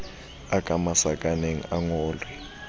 a ka masakaneng a ngolwe